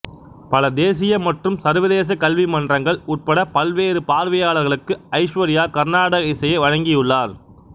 பல தேசிய மற்றும் சர்வதேச கல்வி மன்றங்கள் உட்பட பல்வேறு பார்வையாளர்களுக்கு ஐஸ்வர்யா கர்நாடக இசையை வழங்கியுள்ளார்